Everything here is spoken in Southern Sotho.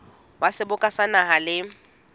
wa seboka sa naha le